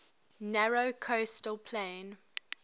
narrow coastal plain